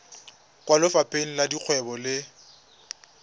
kwa lefapheng la dikgwebo le